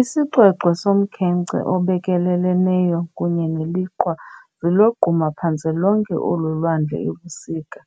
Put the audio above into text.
Isixwexwe somkhenkce obekeleleneyo kunye neliqhwa zilogquma phantse lonke olu lwandle ebusika,